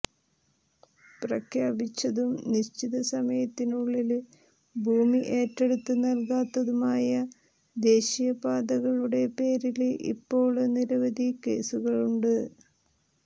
പ്രഖ്യാപിച്ചതും നിശ്ചിത സമയത്തിനുള്ളില് ഭൂമി ഏറ്റെടുത്ത് നല്കാത്തതുമായ ദേശീയ പാതകളുടെ പേരില് ഇപ്പോള് നിരവധി കേസുകളുണ്ട്